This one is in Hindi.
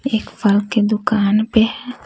एक फल के दुकान पे--